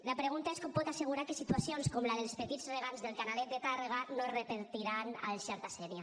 la pregunta és com pot assegurar que situacions com la dels petits regants del canalet de tàrrega no es repetiran al xerta sénia